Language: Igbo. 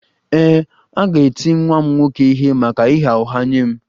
Ee, m ga-eti nwa m nwoke ihe maka ịgha ụgha nye m